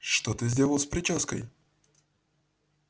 что ты сделал с причёской